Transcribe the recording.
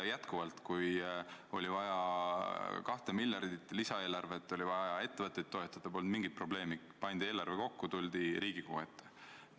Kordan: kui oli vaja kahte miljardit lisaeelarveks, et ettevõtteid toetada, siis polnud mingit probleemi – pandi eelarve kokku, tuldi Riigikogu ette.